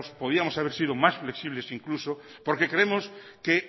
podíamos haber sido más flexibles incluso porque creemos que